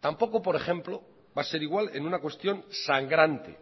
tampoco por ejemplo va a ser igual en una cuestión sangrante